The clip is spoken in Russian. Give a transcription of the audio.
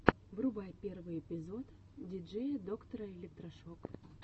врубай первый эпизод диджея доктора электрошок